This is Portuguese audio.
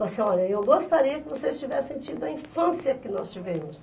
Falo assim, olha, eu gostaria que vocês tivessem tido a infância que nós tivemos.